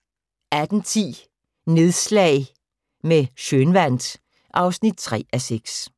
18:10: Nedslag med Schønwandt (3:6)